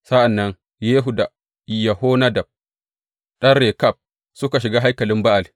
Sa’an nan Yehu da Yehonadab ɗan Rekab, suka shiga haikalin Ba’al.